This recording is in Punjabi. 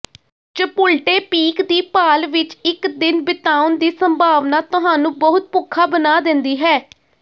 ਚਪੁਲਟੇਪੀਕ ਦੀ ਭਾਲ ਵਿਚ ਇਕ ਦਿਨ ਬਿਤਾਉਣ ਦੀ ਸੰਭਾਵਨਾ ਤੁਹਾਨੂੰ ਬਹੁਤ ਭੁੱਖਾ ਬਣਾ ਦਿੰਦੀ ਹੈ